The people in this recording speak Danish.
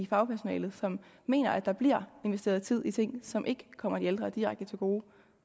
fagpersonalet som mener at der bliver investeret tid i ting som ikke kommer de ældre direkte til gode